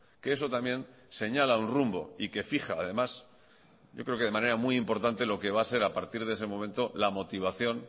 que eso también señala un rumbo y que fija además yo creo que de manera muy importante lo que va a ser a partir de ese momento la motivación